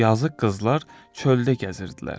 Yazıq qızlar çöldə gəzirdilər.